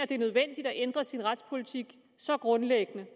det er nødvendigt at ændre sin retspolitik så grundlæggende